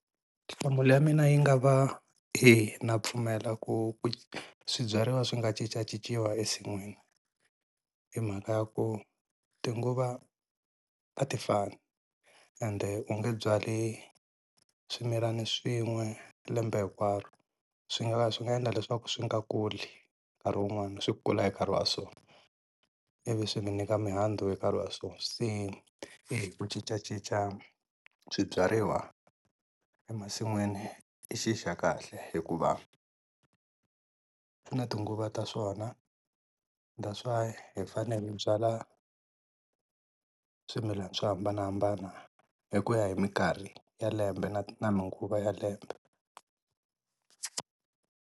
Nhlamulo ya mina yi nga va eya na pfumela ku swibyariwa swi nga cincacinciwa ensin'wini hi mhaka ya ku tinguva a ti fani ende, u nge byali swimilani swin'we lembe hinkwaro swi nga ha swi nga endla leswaku swi nga kuli nkarhi wun'wana swi kula hi nkarhi wa swona ivi swi minyika mihandzu hi nkarhi wa swona. Se ku cincacinca swibyariwa emasin'wini i xi xa kahle hikuva swi na tinguva ta swona that's why hi fanele hi byala swimilana swo hambanahambana hi ku ya hi mikarhi ya lembe na na tinguva ta lembe.